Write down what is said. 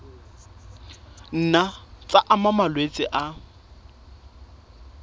nna tsa ama malwetse a